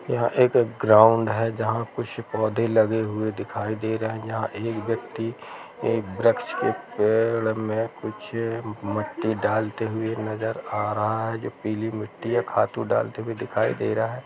यह एक ग्राउंड है जहाँ कुछ पौधे लगे हुए दिखाई दे रहे जहाँ एक व्यक्ति एक वृक्ष के पेड़ में कुछ मिट्टी डालते हुए नजर आ रहा है जो पीली मिट्टी या खादू डालते हुए दिखाई दे रहा हैं।